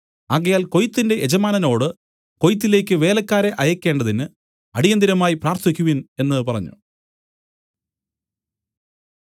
ആകയാൽ കൊയ്ത്തിന്റെ യജമാനനോടു കൊയ്ത്തിലേക്ക് വേലക്കാരെ അയയ്ക്കേണ്ടതിന് അടിയന്തിരമായി പ്രാർത്ഥിക്കുവിൻ എന്നു പറഞ്ഞു